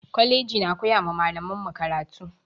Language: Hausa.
Kwalaji na koyara malaman mu karatu